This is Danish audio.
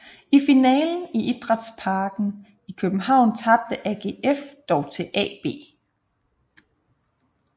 I finalen i Idrætsparken i København tabte AGF dog til AB